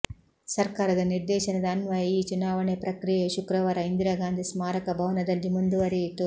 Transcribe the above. ಸರ್ಕಾರದ ನಿರ್ದೇಶನದ ಅನ್ವಯ ಈ ಚುನಾವಣೆ ಪ್ರಕ್ರಿಯೆಯು ಶುಕ್ರವಾರ ಇಂದಿರಾಗಾಂಧಿ ಸ್ಮಾರಕ ಭವನದಲ್ಲಿ ಮುಂದುವರಿಯಿತು